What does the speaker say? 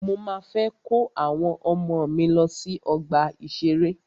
Mọ máa fẹ́ kó àwọn ọmọ mí lọ sí ọgbà ìṣẹ̀rẹ́.